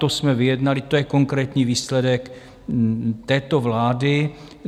To jsme vyjednali, to je konkrétní výsledek této vlády.